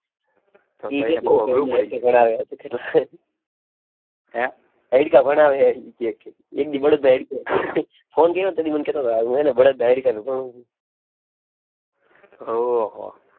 ભણાવે ફોન કારતીઓ હતો તે દિ મને કેતો હતો